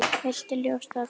Viltu ljóstra því upp?